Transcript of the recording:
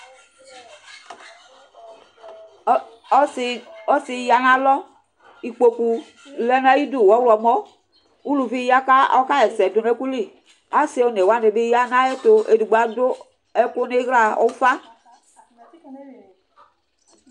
ɔse ya'nalɔ ikpoku lɛ n'ayidu ɔwlɔmɔ uluvi ya ko ɔka ɣ'ɛsɛ do no ɛkò li ase one wani ya n'ayɛto edigbo ado ɛkò n'ila ufa